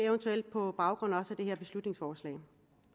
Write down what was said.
på baggrund af det her beslutningsforslag